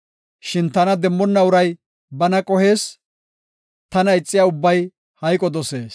Shin tana demmonna uray bana qohees; tana ixiya ubbay hayqo dosees.”